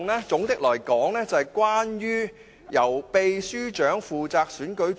總的來說，這修訂是關於由立法會秘書負責選舉主席。